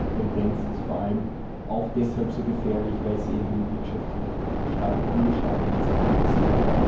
Diese Tendenz ist vor allem auch deshalb so gefährlich, weil sie in wirtschaftlich stark angeschlagenen Zeiten passiert.